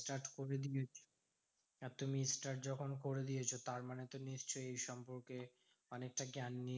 Start করে দিয়েছো। আর তুমি start যখন করে দিয়েছো তারমানে তো নিশ্চই সম্পর্কে অনেকটা জ্ঞান